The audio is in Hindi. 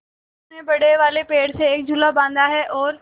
मनु ने बड़े वाले पेड़ से एक झूला बाँधा है और